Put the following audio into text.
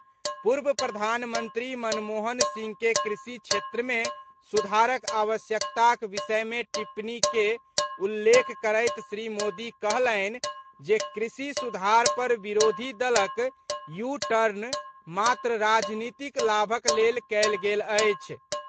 पूर्व प्रधानमंत्री मनमोहन सिंह के कृषि क्षेत्रमे सुधारक आवश्यकताक विषयमे टिप्पणी के उल्लेख करैत श्री मोदी कहलनि जे कृषि सुधार पर विरोधी दलक यू टर्न मात्र राजनीतिक लाभक लेल कयल गेल अछि।